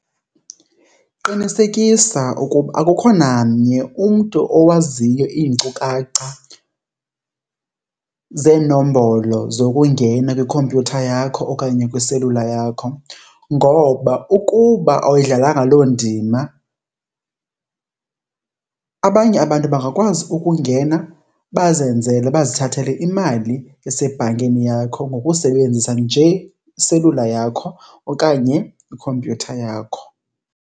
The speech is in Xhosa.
Qinisekisa ukuba akukho namnye umntu owaziyo iinkcukacha zeenombolo zokungena kwikhompyutha yakho okanye kwiselula yakho. Ngoba ukuba awuyidlalanga loo ndima abanye abantu bangakwazi ukungena bazenzele, bazithathele imali esebhankini yakho ngokusebenzisa nje iselula yakho okanye ikhompyutha yakho.